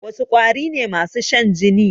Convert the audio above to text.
Wasu ƙwari ne masu shan jini?